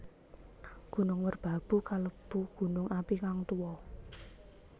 Gunung Merbabu kalebu gunung api kang tuwa